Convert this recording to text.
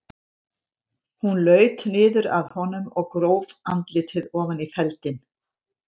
Hún laut niður að honum og gróf andlitið ofan í feldinn.